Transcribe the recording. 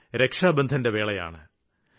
ഇത് രക്ഷാബന്ധന്റെ വേളയാണ്